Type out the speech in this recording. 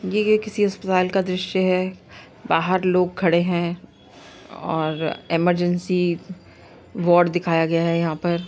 ये किसी अस्पताल का द्रश्य है। बाहर लोग खड़े है और इमरजेंसी बोर्ड दिखाया गया है। यहाँ पर --